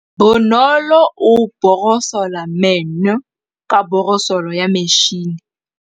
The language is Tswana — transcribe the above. Bonolô o borosola meno ka borosolo ya motšhine.